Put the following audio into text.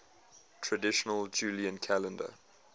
traditional julian calendar